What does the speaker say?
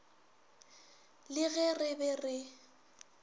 le ge re be re